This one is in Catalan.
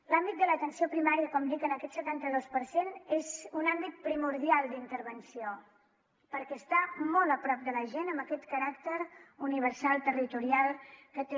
l’àmbit de l’atenció primària com dic en aquest setanta dos per cent és un àmbit primordial d’intervenció perquè està molt a prop de la gent amb aquest caràcter universal territorial que té